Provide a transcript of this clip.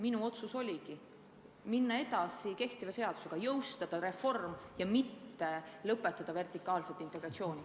Minu otsus oligi minna edasi kehtiva seadusega, jõustada reform ja mitte lõpetada vertikaalset integratsiooni.